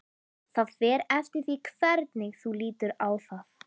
Það fer eftir því hvernig þú lítur á það.